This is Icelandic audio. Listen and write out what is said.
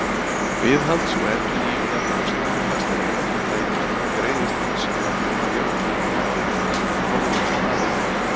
Viðhalds og endurnýjunarkostnaður fasteigna og tækja greiðist hins vegar nú að jöfnu af áðurnefndum aðilum.